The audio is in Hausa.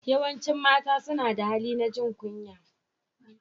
Yawancin mata suna da hali na jin kunya.